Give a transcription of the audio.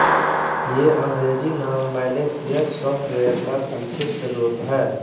ये अंग्रेज़ी नाम मैलेशियस सॉफ्टवेयर का संक्षिप्त रूप है